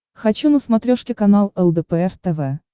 хочу на смотрешке канал лдпр тв